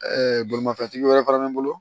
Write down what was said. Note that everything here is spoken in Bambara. bolimafɛntigi wɛrɛ fana bɛ n bolo